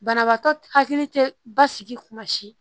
Banabaatɔ hakili tɛ basigi kuma si